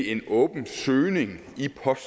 en åben søgning i post